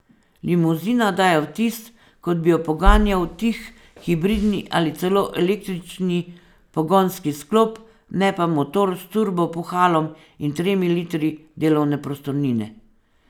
Limuzina daje vtis, kot bi jo poganjal tih hibridni ali celo električni pogonski sklop, ne pa motor z turbo puhalom in tremi litri delovne prostornine.